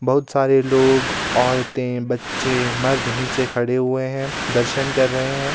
बहुत सारे लोग औरतें बच्चे मर्द नीचे खड़े हुए हैं दर्शन कर रहे हैं.